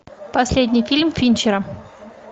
последний фильм финчера